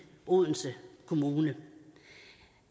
odense kommune